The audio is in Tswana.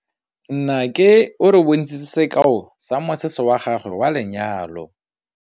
Nnake o re bontshitse sekaô sa mosese wa gagwe wa lenyalo.